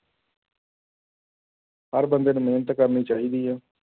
ਹਰ ਬੰਦੇ ਨੂੰ ਮਿਹਨਤ ਕਰਨੀ ਚਾਹੀਦੀ ਹੈ।